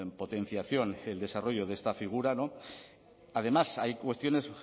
potenciación y el desarrollo de esta figura además hay cuestiones